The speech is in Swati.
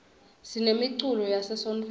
sinemiculo yase sontfweni